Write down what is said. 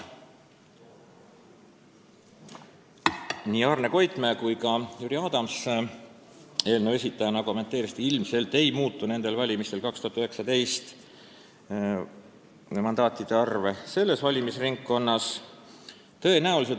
Nii Arne Koitmäe kui eelnõu esitajana ka Jüri Adams kommenteerisid, et 2019. aasta valimistel mandaatide arv selles valimisringkonnas ilmselt ei muutu.